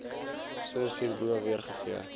soos hierbo weergegee